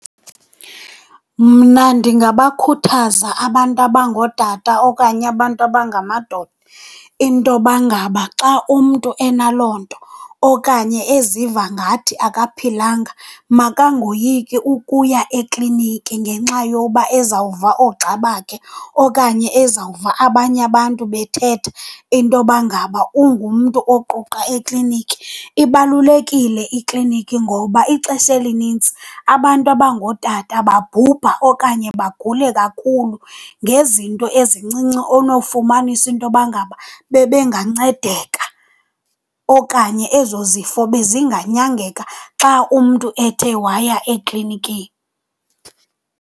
Mna ndingabakhuthaza abantu abangootata okanye abantu abangamadoda intoba ngaba xa umntu enaloo nto okanye eziva ngathi akaphilanga makangoyiki ukuya ekliniki ngenxa yoba ezawuva oogxa bakhe okanye ezawuva abanye abantu bethetha intoba ngaba ungumntu oquqa ekliniki. Ibalulekile ikliniki ngoba ixesha elinintsi abantu abangootata babhubha okanye bagule kakhulu ngezinto ezincinci onowufumanisa intoba ngaba bebengancedeka okanye ezo zifo bezinganyangeka xa umntu ethe waya eklinikini.